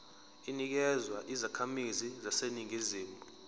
inikezwa izakhamizi zaseningizimu